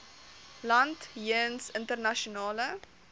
land jeens internasionale